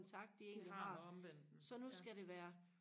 det har med omverdenen